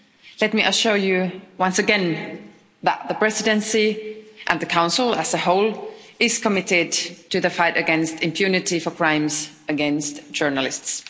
Let me assure you, once again, that the Presidency and the Council as a whole is committed to the fight against impunity for crimes against journalists.